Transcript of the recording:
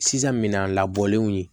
Sisan minan labɔlenw ye